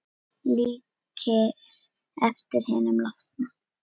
Líkir eftir hinum látna